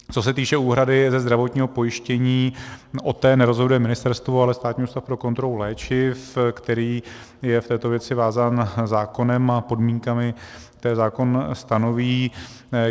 Co se týče úhrady ze zdravotního pojištění, o té nerozhoduje ministerstvo, ale Státní ústav pro kontrolu léčiv, který je v této věci vázán zákonem a podmínkami, které zákon stanoví.